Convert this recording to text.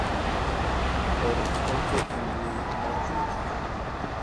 or ote e mbui mar twita